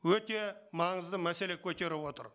өте маңызды мәселе көтеріп отыр